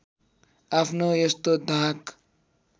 आफ्नो यस्तो धाक